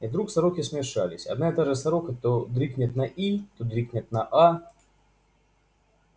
и вдруг сороки смешались одна и та же сорока то дрикнет на и то дрикнет на а